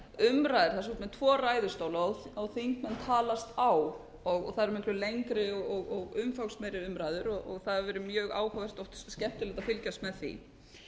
fram umræður það er með tvo ræðustólar og þingmenn tala á og það eru miklu lengri og umfangsmeiri umræður og það hefur verið mjög áhugavert og skemmtilegt að fylgjast með því